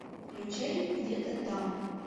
включай где то там